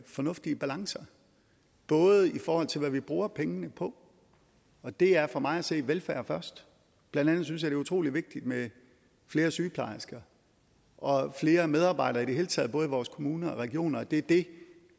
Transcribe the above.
fornuftige balancer både i forhold til hvad vi bruger pengene på og det er for mig at se velfærd først blandt andet synes jeg er utrolig vigtigt med flere sygeplejersker og flere medarbejdere i det hele taget både i vores kommuner og regioner det er det